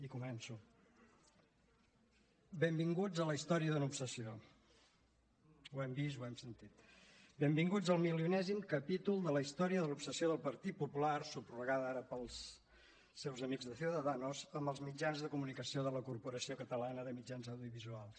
i començo benvinguts a la història d’una obsessió ho hem vist ho hem sentit benvinguts al milionèsim capítol de la història de l’obsessió del partit popular subrogada ara pels seus amics de ciudadanos amb els mitjans de comunicació de la corporació catalana de mitjans audiovisuals